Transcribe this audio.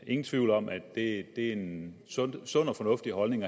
ingen tvivl om at det er en sund og fornuftig holdning